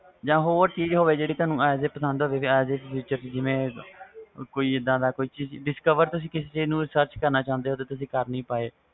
ਜਾ ਹੋਰ ਚੀਜ਼ ਹੋਵੇ ਜੋ ਤੁਹਾਨੂੰ ਪਸੰਦ ਹੋਵੇ ਕੋਈ ਇਹਦਾ ਦਾ discover ਹੋ ਵੇ ਜਿਨੂੰ ਤੁਸੀ sarch ਕਰਨਾ ਚਾਹੁੰਦੇ ਹੋਵੋ ਪਾਰ ਕਰ ਨਹੀਂ ਪਾਏ